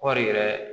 Kɔɔri yɛrɛ